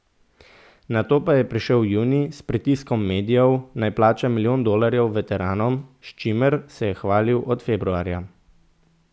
Nato pa je prišel junij s pritiskom medijev, naj plača milijon dolarjev veteranom, s čimer se je hvalil od februarja.